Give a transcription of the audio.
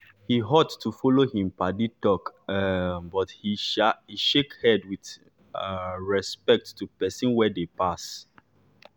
he halt to follow him paddy talk um but he shake head with um respect to pesin wey dey pass.